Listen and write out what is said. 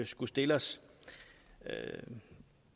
skulle stille os i